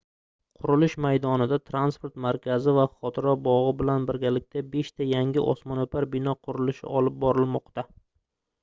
qurilish maydonida transport markazi va xotira bogʻi bilan birgalikda beshta yangi osmonoʻpar bino qurilishi olib borilmoqda